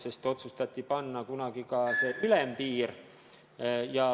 Kunagi otsustati ju ka see ülempiir.